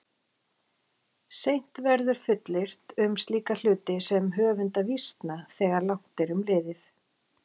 Seint verður fullyrt um slíka hluti sem höfunda vísna þegar langt er um liðið.